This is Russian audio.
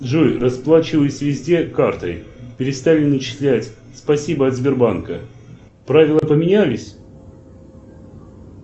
джой расплачиваюсь везде картой перестали начислять спасибо от сбербанка правила поменялись